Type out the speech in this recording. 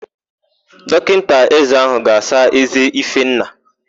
Dọkịta ézé áhụ̀ ga-asa ézé Ifenna.